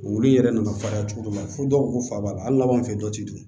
Olu yɛrɛ nana fa cogo dɔ la fo dɔw ko fa b'a la hali n'a b'an fɛ dɔ ti don